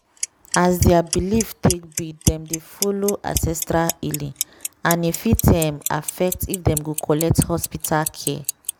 as their belief take be dem dey follow ancestral healing and e fit um affect if dem go collect hospital care.